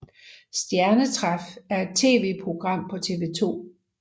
Stjernetræf er et tvprogram på TV2